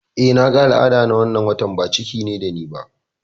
Eh, naga al'ada na wannan watan, ba ciki ne da ni ba